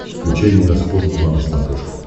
включай евроспорт два на смотрешке